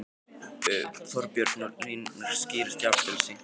Þorbjörn: Og línurnar skýrast jafnvel seint í kvöld?